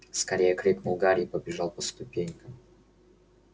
скорее крикнул гарри и побежал по ступенькам